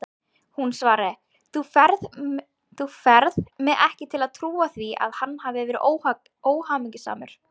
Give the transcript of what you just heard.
Hún svaraði: Þú færð mig ekki til að trúa því að hann hafi verið óhamingjusamur.